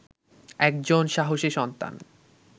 একজন সাহসী সন্তান